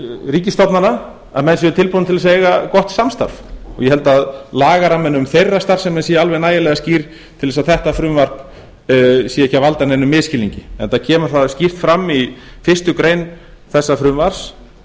ríkisstofnana að menn séu tilbúnir til þess að eiga gott samstarf ég held að lagaramminn um þeirra starfsemi sé alveg nægilega skýr til þess að þetta frumvarp sé ekki að valda neinum misskilningi það kemur enda skýrt fram í fyrstu grein þessa frumvarps